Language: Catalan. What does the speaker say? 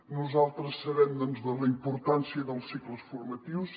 nosaltres sabem doncs la importància dels cicles formatius